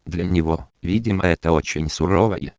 для него видимо это очень сура